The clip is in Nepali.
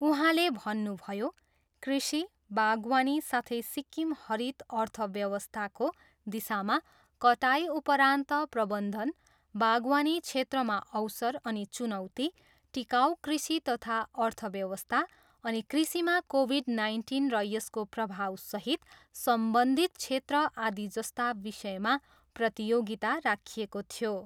उहाँले भन्नुभयो, कृषि, बागवानी साथै सिक्किम हरित अर्थव्यवस्थाको दिशामा, कटाइ उपरान्त प्रबन्धन, बागवानी क्षेत्रमा अवसर अनि चुनौती, टिकाउ कृषि तथा अर्थव्यवस्था अनि कृषिमा कोभिड नाइन्टिन र यसको प्रभावसहित सम्बन्धित क्षेत्र आदि जस्ता विषयमा प्रतियोगिता राखिएको थियो।